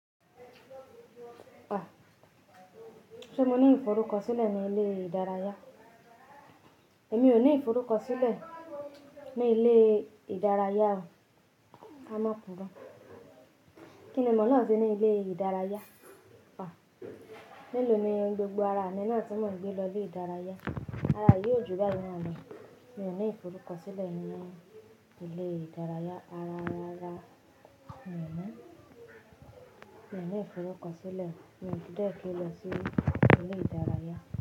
Ṣé mo ní ìforúkọ̀sílẹ̀ ní ilé ìdárayá? Èmi ò ní ìforúkọ̀sílẹ̀ ní ilé ìdárayá o. A máa pọ̀ mọ́. Kí ni mo lọ́ n ṣe ní ilé ìdárayá? Melò ni gbogbo ara mi náà tí mọn gbé lọ ilé ìdárayá. Ara yìí ó jù báyìí naa lọ. Mi ò ní ìforúkọ̀sílẹ̀ nínú ilé ìdárayá rara rárá. Mi ò mọ̀. Mi ò ní ìforúkọ̀sílẹ̀, mo ti dé kí n lọ sí ilé ìdárayá.